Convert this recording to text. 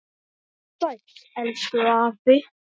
Vertu sæll, elsku afi.